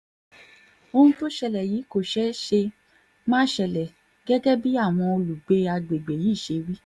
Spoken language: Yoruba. ohun tó ṣẹlẹ̀ yìí kò ṣẹ̀ṣẹ̀ máa ṣẹlẹ̀ gẹ́gẹ́ báwọn olùgbé àgbègbè yìí ṣe wí